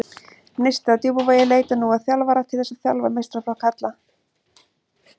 Neisti á Djúpavogi leitar nú að þjálfara til þess að þjálfa meistaraflokk karla.